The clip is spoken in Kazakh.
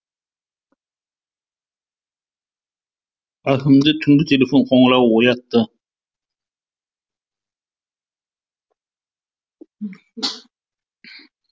әкімді түнгі телефон қоңырауы оятты